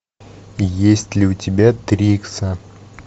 есть ли у тебя три икса